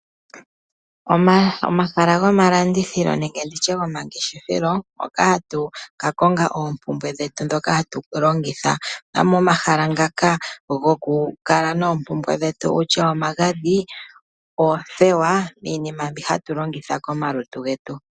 Omahala gomalandithilo nenge nditye gomangeshefelo hoka hatu ka konga oompumbwe dhetu dhoka hatu longitha, momahala ngaka goku kala noompumbwe dhetu kutya omagadhi , oothewa iinima mbi hatu longitha komalutu gwtu.